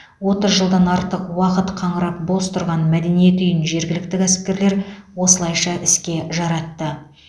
отыз жылдан артық уақыт қаңырап бос тұрған мәдениет үйін жергілікті кәсіпкерлер осылайша іске жаратты